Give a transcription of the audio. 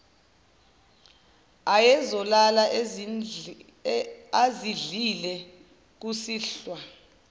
ayezolala ezidlile kusihlwa